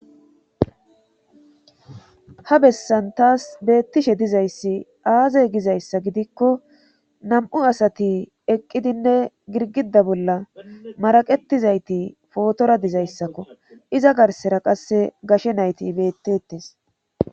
Ha bessan taas beettishe dizayssi aazey gizayssa gidikko nam7u asati eqqidinne girgida bolla maraqetizayti pootora dizayssakko iza garsera qasse gashe nayti bettettes